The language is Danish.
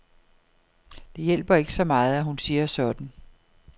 Det hjælper ikke så meget, at hun siger sådan.